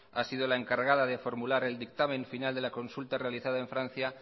ha sido la encargada de formular el dictamen final de la consulta realizada en francia